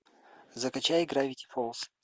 закачай гравити фолз